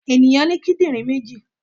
Ènìyàn ní kídìrín méjì.